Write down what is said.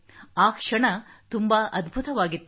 ಆ ಕ್ಷಣ ತುಂಬಾ ಅದ್ಭುತವಾಗಿತ್ತು